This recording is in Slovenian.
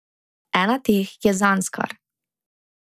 Ena teh je Zanskar.